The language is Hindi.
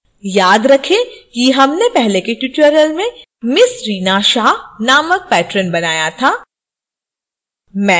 याद रखें कि हमने पहले के tutorial में ms reena shah नामक patron बनाया था